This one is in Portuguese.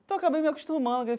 Então eu acabei me acostumando.